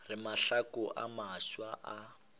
re mahlaku a mafsa a